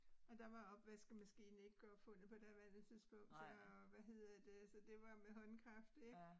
Og der var opvaskemaskinen ikke opfundet på daværende tidspunkt så hvad hedder det så det var med håndkraft ik